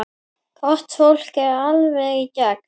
Gott fólk, alveg í gegn.